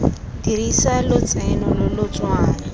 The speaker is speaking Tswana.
dirisa lotseno lo lo tswang